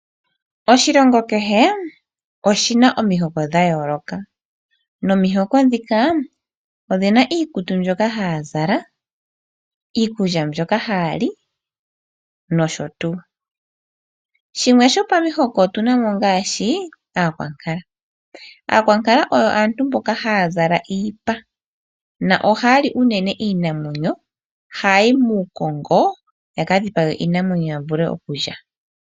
Oshilongo kehe omuna omihoko dhayooloka. Nomihoko dhika odhina iikutu mbyoka haya zala, iikulya mbyoka haya li nosho tuu. Dhimwe dhomihoko ongaashi aakwankala. Aakwankala oyo aantu mboka haya zala iipa na ohaa li uunene iinamwenyo hayi muukongo ya kadhipage iinamwnyo ya vule oku lya.